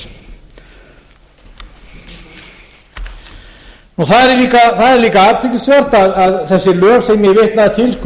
það er líka athyglisvert að þessi lög sem ég vitnaði til